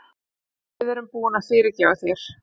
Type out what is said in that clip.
Við erum búin að fyrirgefa þér.